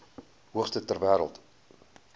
hoogste ter wêreld